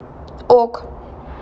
ок